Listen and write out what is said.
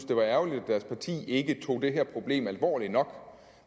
det var ærgerligt at deres parti ikke tog det her problem alvorligt nok